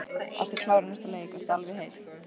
Ertu klár í næsta leik, ertu alveg heill?